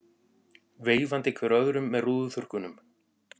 Veifandi hver öðrum með rúðuþurrkum.